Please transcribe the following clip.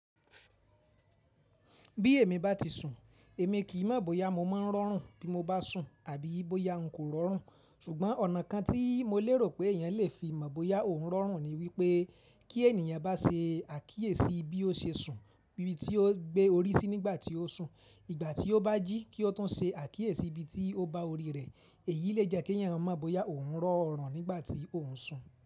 Bí èmi bá ti sùn, èmi kì í mọ̀ bóyá mo máa ń rọrùn bí mo bá sùn àbí bóyá n kò rọrùn. Ṣùgbọ́n ọ̀nà kan tí mo lérò pé èèyàn lè fi mọ̀ bóyá òun rọrùn ni wípé kí ènìyàn bá ṣe àkíyèsí bí ó se sùn, bíbí tí ó gbé orí sí nígbà tí ó sùn, ìgbà tí ó bá jí kí ó tún ṣe àkíyèsí ibi tí ó ba orí rẹ̀, èyí lè jẹ́ kí ẹ̀yàn mọ̀ bóyá òun rọ́ rọrùn nígbà tí òun ń sùn.